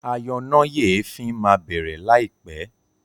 ayọnáyèéfín má bẹrẹ láì pé